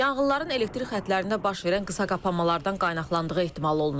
Yanğınların elektrik xətlərində baş verən qısaqapanmalardan qaynaqlandığı ehtimal olunur.